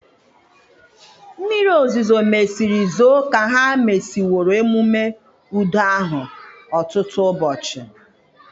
Mmiri ozuzo mesịrị zoo ka ha mesịworo ememe udo ahụ ọtụtụ ụbọchị.